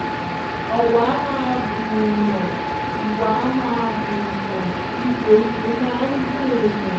owó á máa gùn-ún-yàn iwà máa ń gùn-ún-yàn ipò ipò máa ń gún èèyàn